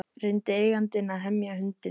Reyndi eigandinn að hemja hundinn